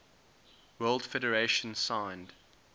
world federation signed